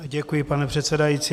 Děkuji, pane předsedající.